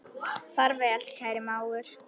Far vel, kæri mágur.